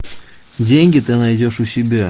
деньги ты найдешь у себя